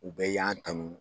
U bɛɛ y'an tanu.